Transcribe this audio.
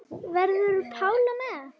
Verður Pála með?